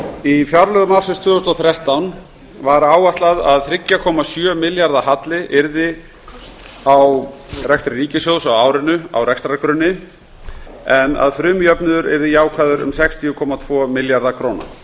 í fjárlögum ársins tvö þúsund og þrettán var áætlað að þriggja komma sjö milljarða halli yrði á rekstri ríkissjóðs á árinu á rekstrargrunni en að frumjöfnuður yrði jákvæður um sextíu komma tvo milljarða króna